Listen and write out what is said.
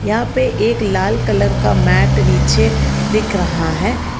यहां पे एक लाल कलर का मैट नीचे दिख रहा हैं।